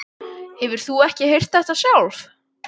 Hefur þú ekki heyrt þetta sjálf?